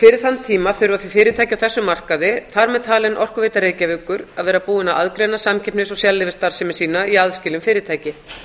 fyrir þann tíma þurfa fyrirtæki á þessum markaði þar með talin orkuveita reykjavíkur að vera búin að aðgreina samkeppnis og sérleyfisstarfsemi sína í aðskilin fyrirtæki